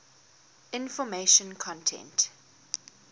information content